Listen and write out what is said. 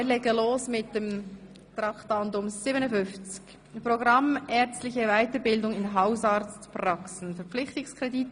Wir legen mit Traktandum 57 los, dem Programm für die ärztliche Weiterbildung in Hausarztpraxen, die sogenannte Praxisassistenz.